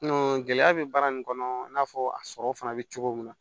gɛlɛya bɛ baara nin kɔnɔ i n'a fɔ a sɔrɔ fana bɛ cogo min na